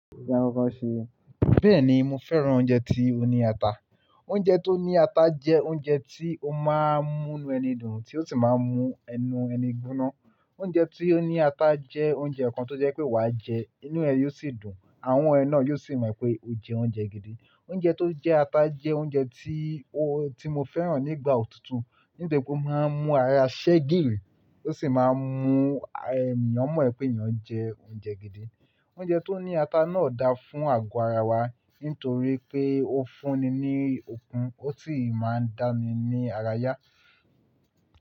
Bẹ́ẹ̀ni mo fẹ́ràn oúnjẹ tió ní ata. Oúnjẹ tó ní ata jẹ́ oúnjẹ tí ó máa ń múnu ẹni dùn tí ó sì máa ń mú ẹnu ẹni gbóná. Oúnjẹ tí ó ní ata jẹ́ oúnjẹ kan tó jẹ́ pé wa jẹ, inú ẹ yóò sì dùn. Àwọn ẹnu náà yóò sì mọ̀ pé o jẹ oúnjẹ gidi. Oúnjẹ tó jẹ́ ata jẹ́ oúnjẹ tí ó, tí mo fẹ́ràn nígbà òtútù. Nítorí pé ó máa ń mú ara ṣẹ́giri, ó sì máa ń mú ẹni, ọmọ ẹ pé ènìyàn jẹ oúnjẹ gidi. Oúnjẹ tó ní ata náà dáa fún àgọ́ ara wa nítorí pé ó fún ni ní okun ó sì máa ń dá ni ní ara yá.